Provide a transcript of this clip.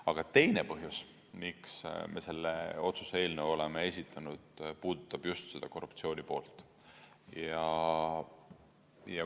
Aga teine põhjus, miks me selle otsuse eelnõu oleme esitanud, puudutab just seda korruptsioonipoolt.